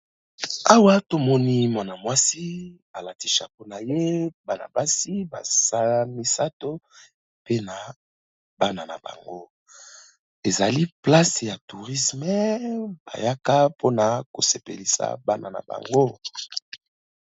Awa to moni mwana mwasi a lati chapeau na ye, bana basi baza misatu pe na bana na bango . Ezali place ya tourisme ba yaka po na ko sepelisa bana na bango .